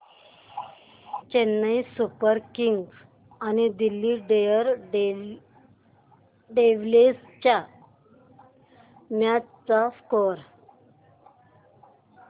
Chennai super kings आणि Delhi daredevils च्या match चा स्कोअर